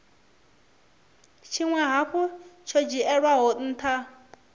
tshinwe hafhu tsho dzhielwaho ntha